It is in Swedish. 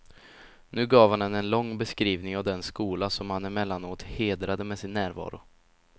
Nu gav han henne en lång beskrivning av den skola som han emellanåt hedrade med sin närvaro.